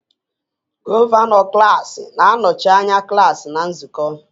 Gọvanọ klaasị na-anọchi anya klaasị na nzukọ